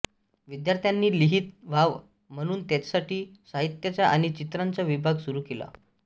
विद्यार्थ्यांनी लिहितं व्हावं म्हणून त्यांच्यासाठी साहित्याचा आणि चित्रांचा विभाग सुरू केला